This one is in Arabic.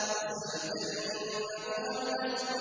وَسَيُجَنَّبُهَا الْأَتْقَى